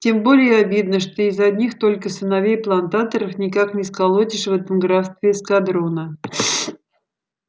тем более обидно что из одних только сыновей плантаторов никак не сколотишь в этом графстве эскадрона